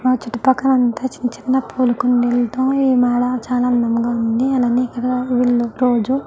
చుట్టూ పక్కలంతా చిన్న చిన్న పూల కుండీలతో ఈ మెడ చాల అందంగా ఉంది అలానే ఇక్కడ వీలు రోజు --